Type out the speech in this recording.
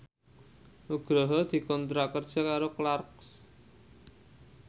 Nugroho dikontrak kerja karo Clarks